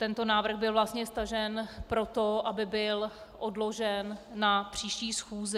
Tento návrh byl vlastně stažen proto, aby byl odložen na příští schůzi.